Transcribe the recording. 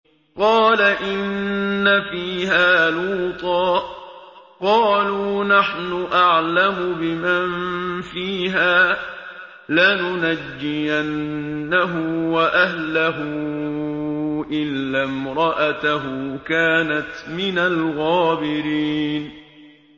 قَالَ إِنَّ فِيهَا لُوطًا ۚ قَالُوا نَحْنُ أَعْلَمُ بِمَن فِيهَا ۖ لَنُنَجِّيَنَّهُ وَأَهْلَهُ إِلَّا امْرَأَتَهُ كَانَتْ مِنَ الْغَابِرِينَ